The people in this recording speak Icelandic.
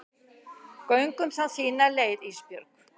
Göngum þá þína leið Ísbjörg.